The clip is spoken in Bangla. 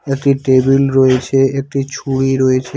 একটি টেবিল রয়েছে একটি ছুরি রয়েছে।